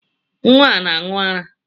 Nnwa na-aṅụ ara